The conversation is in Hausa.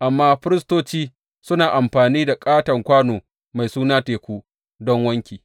amma firistoci suna amfani da ƙaton kwano mai suna Teku don wanki.